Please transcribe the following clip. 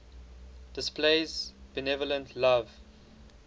displays benevolent love